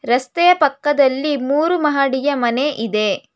ರಸ್ತೆಯ ಪಕ್ಕದಲ್ಲಿ ಮೂರು ಮಹಡಿಯ ಮನೆ ಇದೆ.